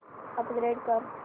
upgrade कर